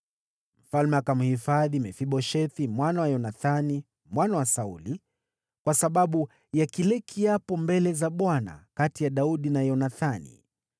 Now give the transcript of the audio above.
Mfalme akamhifadhi Mefiboshethi mwana wa Yonathani, mwana wa Sauli, kwa sababu ya kile kiapo mbele za Bwana kati ya Daudi na Yonathani.